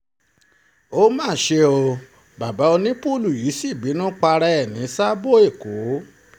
ó má ṣe bàbá onípùùlù yìí sí bínú para ẹ̀ ní sáàbọ̀ èkó